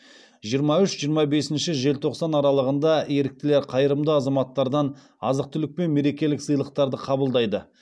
жиырма үш жиырма бесінші желтоқсан аралығында еріктілер қайырымды азаматтардан азық түлік пен мерекелік сыйлықтарды қабылдайды